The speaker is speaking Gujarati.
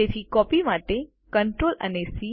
તેથી કોપી માટે Ctrl અને સી